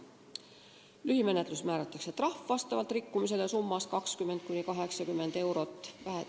Lühimenetluses määratakse trahv vastavalt rikkumisele summas 20–80 eurot.